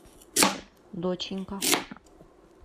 доченька